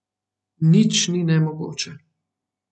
Nič ni nemogoče.